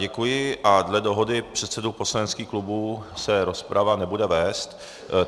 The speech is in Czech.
Děkuji a dle dohody předsedů poslaneckých klubů se rozprava nebude vést.